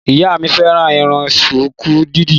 Ìyá mi fẹ́ràn Irun ṣùkú dídì.